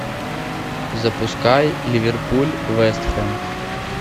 запускай ливерпуль вест хэм